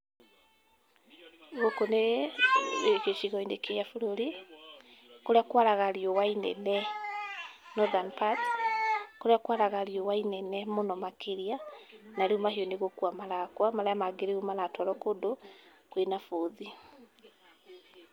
Gũkũ nĩ gĩcigo-inĩ kĩa bũrũri kũrĩa kwaraga riũa inene, nothern parts kũrĩa kwaraga rĩua inene mũno makĩria, na rĩu mahiũ nĩ gũkua marakua, marĩa mangĩ rĩu maratwarwo kũndũ kwĩna bũthi.